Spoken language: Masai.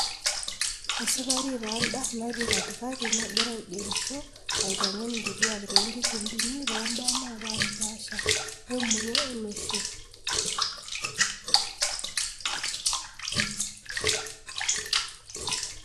esikari taa enda natii katikati nagira aigerisho aitengen inkituuak too nkikundini too mbaa na paashi paasha emurua olosho.